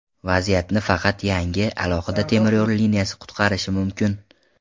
Vaziyatni faqat yangi, alohida temiryo‘l liniyasi qutqarishi mumkin.